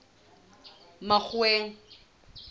makgoweng